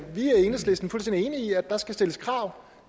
der skal stilles krav